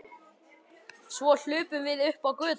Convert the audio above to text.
Svo hlupum við upp á götu.